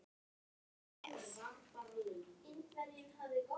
Við tökum það með.